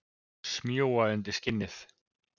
Smjúga undir skinnið.